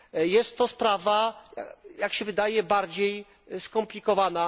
Jest to sprawa, jak się wydaje, bardziej skomplikowana.